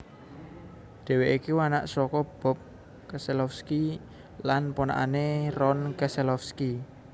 Dhèwèké iku anak saka Bob Keselowski lan ponakané Ron Keselowski